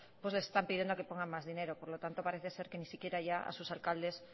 les están pidiendo que pongan más dinero por lo tanto parece ser que ni siquiera ya a sus alcaldes